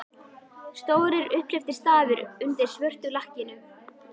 Stórir, upphleyptir stafir undir svörtu lakkinu!